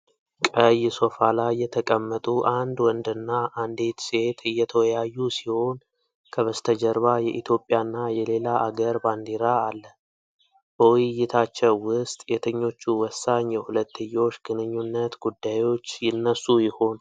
ቀይ ሶፋ ላይ የተቀመጡ አንድ ወንድና አንዲት ሴት እየተወያዩ ሲሆን ከበስተጀርባ የኢትዮጵያና የሌላ አገር ባንዲራ አለ። በውይይታቸው ውስጥ የትኞቹ ወሳኝ የሁለትዮሽ ግንኙነት ጉዳዮች ይነሱ ይሆን?